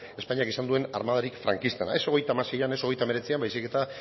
espainiak izan duen armadarik frankistena ez hogeita hamaseian ez hogeita hemeretzian baizik eta